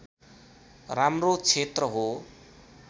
राम्रो क्षेत्र हो